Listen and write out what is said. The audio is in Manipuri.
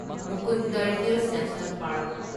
Mukundra Hills National park